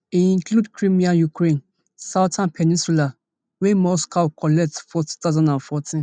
e include crimea ukraine southern peninsula wey moscow collect for two thousand and fourteen